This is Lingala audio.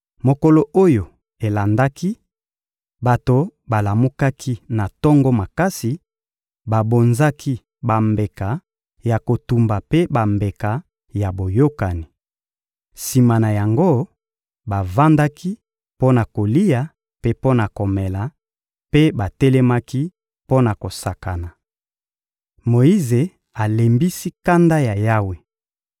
Mokolo oyo elandaki, bato balamukaki na tongo makasi, babonzaki bambeka ya kotumba mpe bambeka ya boyokani. Sima na yango, bavandaki mpo na kolia mpe mpo na komela; mpe batelemaki mpo na kosakana. Moyize alembisi kanda ya Yawe